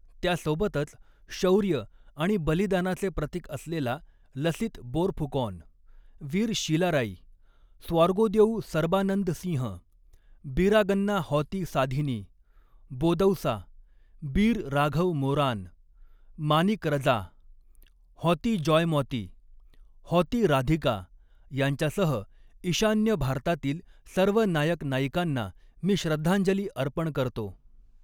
त्यासोबतच, शौर्य आणि बलिदानाचे प्रतीक असलेला लसीत बोरफुकॉन, वीर शिलाराई, स्वॉर्गोदेउ सर्बानंद सिंह्, बीरागंना हॉति साधिनी, बोदौसा, बीर राघव मोरान, मानिक रजा, हॉति जॉयमॉति, हॉति राधिका यांच्यासह ईशान्य भारतातील सर्व नायक नायिकांना मी श्रद्धांजली अर्पण करतो.